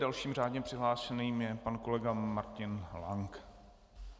Dalším řádně přihlášeným je pan kolega Martin Lank.